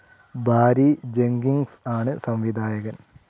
ബാരി Jenkins ആണ് സംവിധായകൻ..